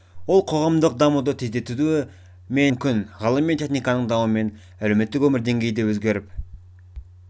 ол қоғамдық дамуды тездетуі немесе тежеуі мүмкін ғылым мен техниканың дамуымен әлеуметтік өмір деңгейі де өзгеріп